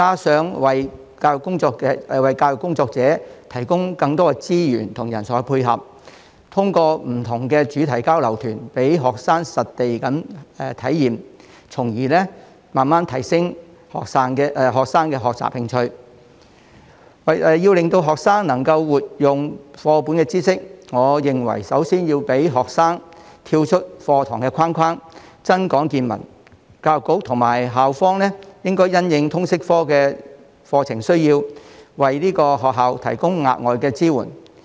此外，亦要為教育工作者提供更多資源和人才配合，通過不同的主題交流團，讓學生實地體驗，從而慢慢提升學生的學習興趣。為令學生能夠活用課本的知識，我認為首先要讓學生跳出課堂的框框，增廣見聞。教育局和校方應該因應通識科的課程需要，為學校提供額外支援。